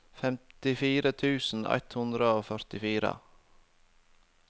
femtifire tusen ett hundre og førtifire